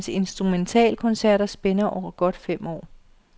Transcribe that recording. Hans instrumentalkoncerter spænder over godt fem år.